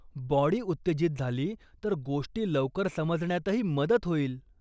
Body उत्तेजित झाली तर, गोष्टी लवकर समजण्यातही मदत होईल.